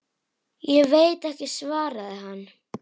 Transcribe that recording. Ég veit ekki, svaraði hann.